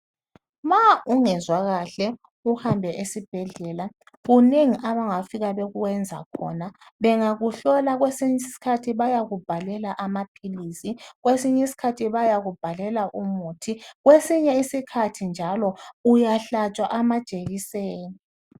Ma ungezwa kahle uhambe esibhedlela kunengi abangafika bekwenza khona bengakuhlola kwesinye isikhathi bayakubhalela amaphilizi kwesinye isikhathi bayakubhalela umuthi kwesinye isikhathi njalo uyahlatshwa amajekiseni.